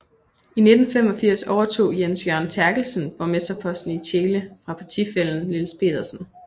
I 1985 overtog Jens Jørgen Therkelsen borgmesterposten i Tjele fra partifællen Niels Pedersen